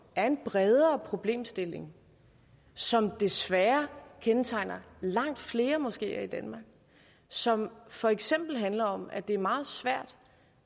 er en bredere problemstilling som desværre kendetegner langt flere moskeer i danmark og som for eksempel handler om at det er meget svært